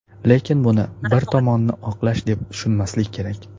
Lekin buni bir tomonni oqlash deb tushunmaslik kerak.